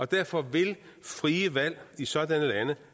derfor vil frie valg i sådanne lande